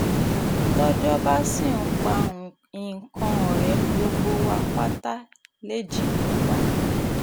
tọ́jọ́ bá sì ń pa ikán ọ̀rẹ́ gbogbo wa pátá lèji ń pa